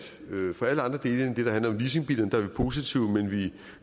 for alle andre dele end det der handler om leasingbiler er vi positive men vi